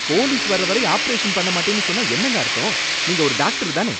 Police வர்ற வரை operation பண்ண மாட்டேன்னு சொன்னா என்னங்க அர்த்தம்? நீங்க ஒரு டாக்டர் தானே?